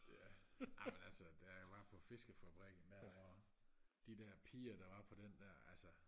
ja amen altså da jeg var på fiskefabrikken der hvor de der piger der var på den der altså